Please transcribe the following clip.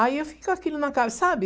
Aí eu fiquei com aquilo na ca, sabe?